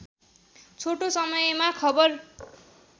छोटो समयमा खबर